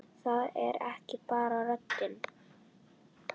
Það er ekki bara röddin.